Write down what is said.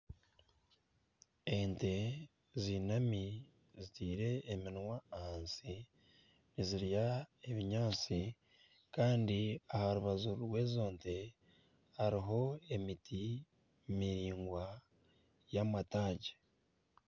Ente zinami zitaire eminwa ahansi nizirya ebinyaatsi kandi aha rubaju rw'ezo nte hariho emiti miraingwa y'amataagi.